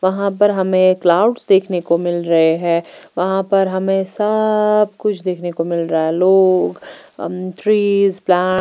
यहाँ पर हमे प्लांट्स देखने को मिल रहे है यहाँ पर हमे सब कुछ देखने को मिल रहा है लोग ट्रीज प्लांट --